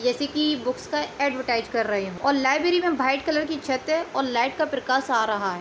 जैसे कि बुक्स का एडवरटाइज कर रहै है और लइब्रेरी मे वाइट कलर की छत है और लाइट का प्रकाश आ रहा है।